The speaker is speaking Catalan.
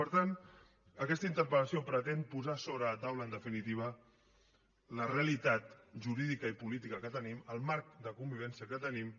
per tant aquesta interpella en definitiva la realitat jurídica i política que tenim el marc de convivència que tenim